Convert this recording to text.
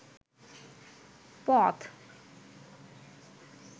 পথ